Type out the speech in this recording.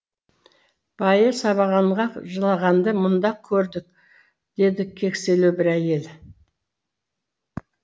байы сабағанға жылағанды мұнда көрдік деді кекселеу бір әйел